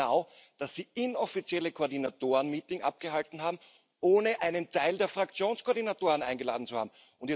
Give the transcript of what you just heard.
Sie wissen genau, dass Sie inoffizielle Koordinatoren Meetings abgehalten haben, ohne einen Teil der Fraktionskoordinatoren eingeladen zu haben.